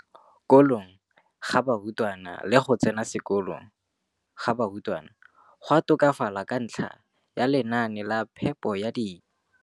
kolong ga barutwana le go tsena sekolo ka tolamo ga barutwana go a tokafala ka ntlha ya lenaane la phepo ya dijo.